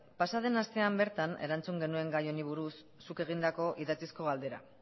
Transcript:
pasa den astean bertan erantzun genuen gai honi buruz zuk egindako idatzizko galdera